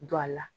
Don a la